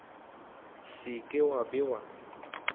se ke wa be wa